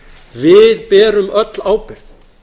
við berum öll ábyrgð